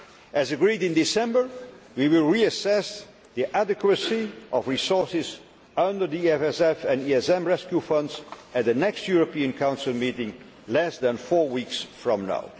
As agreed in December, we will reassess the adequacy of resources under the EFSF and ESM rescue funds at the next European Council meeting less than four weeks